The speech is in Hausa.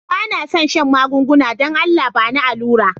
Ba na son shan magunguna, dan Allah ba ni alura'n.